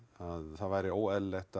það væri óeðlilegt